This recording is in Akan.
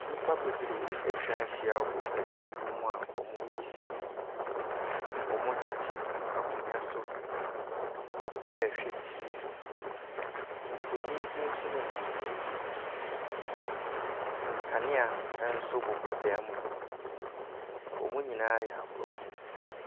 Nnipa bebree atwa ahyia wɔ dan bi mu a wɔreyi sini. Wtete akonnwa so rehwɛ TV. Mfoni bi nso nenam TV no so. Nkanea nso bobɔ dan no mu hɔ. Wɔn nyinaa yɛ Aborɔfo.